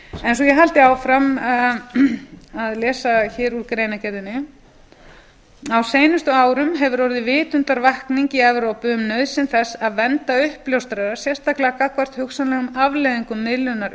svo ég haldi áfram að lesa hér úr greinargerðinni á seinustu árum hefur orðið vitundarvakning í evrópu um nauðsyn þess að vernda uppljóstrara sérstaklega gagnvart hugsanlegum afleiðingum miðlunar upplýsinga